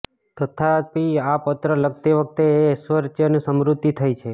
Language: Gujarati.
તથાપિ આ પત્ર લખતી વખત એ ઐશ્ર્ચર્યની સ્મૃતિ થઇ છે